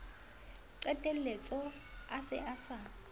qetelletse a se a sa